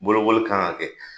Bolokoli kan ka kɛ.